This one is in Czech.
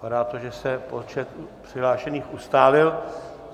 Vypadá to, že se počet přihlášených ustálil.